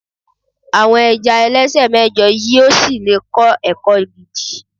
àwọn ẹja ẹlẹsẹ mẹjọ yíò sí le kọ ẹkọ gidi